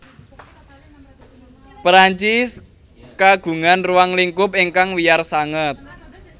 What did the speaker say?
Perancis kagungan ruang lingkup ingkang wiyar sanget